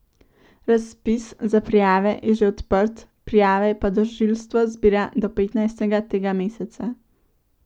Razpis za prijave je že odprt, prijave pa tožilstvo zbira do petnajstega tega meseca.